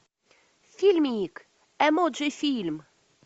фильмик эмоджи фильм